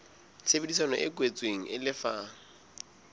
tshebedisano e kwetsweng e lefa